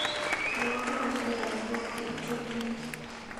Wal taishekab kot koek chebluu